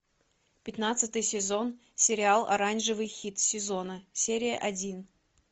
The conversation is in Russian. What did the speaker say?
пятнадцатый сезон сериала оранжевый хит сезона серия один